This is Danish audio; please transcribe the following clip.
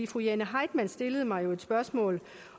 fru jane heitmann stillede mig jo et spørgsmål